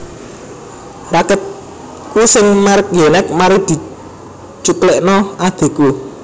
Raketku sing merk Yonex mari dicuklekno adhiku